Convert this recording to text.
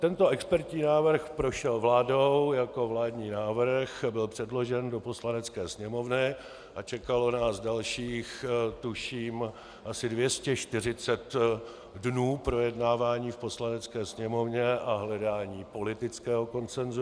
Tento expertní návrh prošel vládou jako vládní návrh, byl předložen do Poslanecké sněmovny a čekalo nás dalších tuším asi 240 dnů projednávání v Poslanecké sněmovně a hledání politického konsensu.